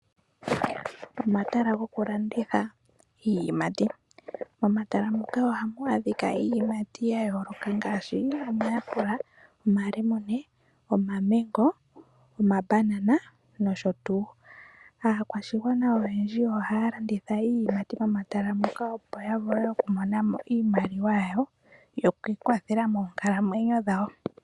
Omatala gokulanditha iiyimati. Momatala ngaka ohamu adhika iiyimati ngaashi omahapela, omabanana, omamengo nomalemune nosho tuu. Aakwashigwana oyendji ohaya landitha iiyimati momatala muka opo yavule okumonamo iimaliwa yawo yokwiikwathela moonkalamwenyo dhawo.